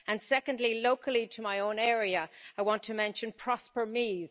Secondly, locally to my own area, I want to mention Prosper Meath.